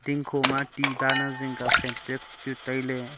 dingkho ti dan ang zingkya syntex chu tailey.